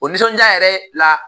O nisɔndiya yɛrɛ la